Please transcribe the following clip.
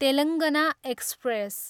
Telangana express